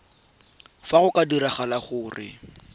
fa go ka diragala gore